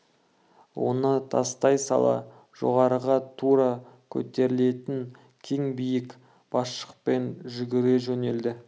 оны тастай сала жоғарыға тура көтерілетін кең биік басқышпен жүгіре жөнелді